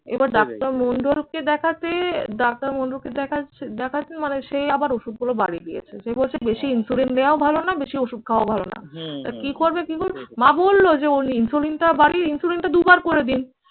এবার ডাক্তার মণ্ডলকে দেখাতে ডাক্তার মন্ডলকে দেখাচ্ছে দেখাচ্ছেন মানে সেই আবার ওষুধগুলো বাড়িয়ে দিয়েছে। সে বলছে বেশি insulin নেওয়াও ভালো না বেশি ওষুধ খাওয়াও ভালো না। তো কি করবে কি করে? মা বলল যে ওর insulin টা বাড়িয়ে দিন insulin দুবার করে দিন